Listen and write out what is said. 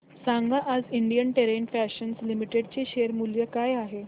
सांगा आज Indian terrain fashions limited चे शेअर मूल्य काय आहे